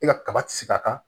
E ka kaba ti se ka